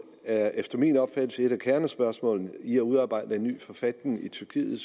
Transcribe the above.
er efter min opfattelse et af kernespørgsmålene i det at udarbejde en ny forfatning i tyrkiet